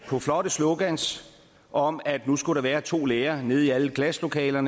på flotte slogans om at nu skulle der være to lærere i alle klasselokaler